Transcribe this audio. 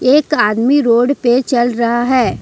एक आदमी रोड पे चल रहा है।